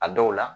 A dɔw la